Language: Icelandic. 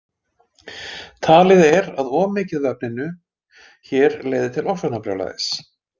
Talið er að of mikið af efninu hér leiði til ofsóknarbrjálæðis.